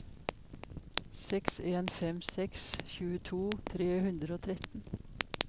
seks en fem seks tjueto tre hundre og tretten